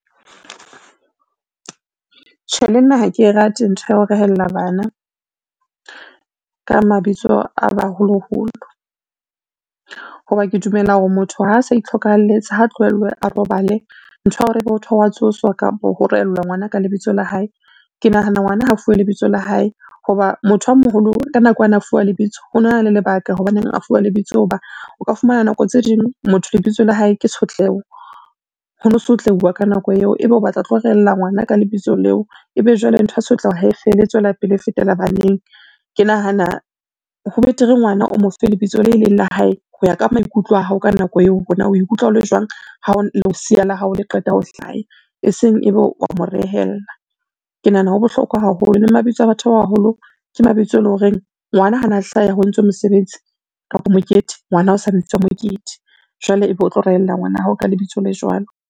Tjhe le nna ha ke e rate ntho ya ho rehellla bana, ka mabitso a baholoholo. Ho ba ke dumela hore motho ha a sa itlhokahalletse ha tlohellwe a robale, ntho ya hore motho wa tsosa kapo ho rehellwa ngwana ka lebitso la hae. Ke nahana ngwana ha a fuwe lebitso la hae ho ba motho a moholo ka nako ana a fuwa lebitso, ona na le lebaka hobaneng a fuwa lebitso ho ba o ka fumana nako tse ding motho lebitso la hae ke Tshotleho ho no sotleuwa ka nako eo, ebe o batla ho tlo rehellla ngwana ka lebitso leo, ebe jwale ntho ya tshotleho ha e fele e tswela pele e fetela baneng. Ke nahana ho betere ngwana o mo fe lebitso le leng la hae ho ya ka maikutlo a hao ka nako eo hore na o ikutlwa o le jwang, ha lesea la hao le qeta ha hlaya e seng ebe wa mo rehella. Ke nahana ho bohlokwa haholo le mabitso a batho ba baholo ke mabitso e lo reng ngwana hana hlaha ho entswe mosebetsi kapa mokete, ngwana o sa bitswa a Mokete jwale ebe o tlo rehellla ngwana ya hao ka lebitso le jwalo.